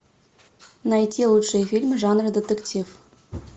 найти лучшие фильмы жанра детектив